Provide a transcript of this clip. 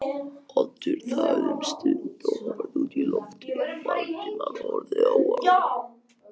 Oddur þagði um stund og horfði út í lofið, Valdimar horfði á hann.